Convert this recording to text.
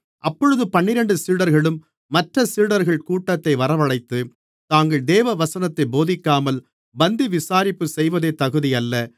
அப்பொழுது பன்னிரண்டு சீடர்களும் மற்ற சீடர்கள் கூட்டத்தை வரவழைத்து நாங்கள் தேவவசனத்தைப் போதிக்காமல் பந்திவிசாரிப்பு செய்வது தகுதியல்ல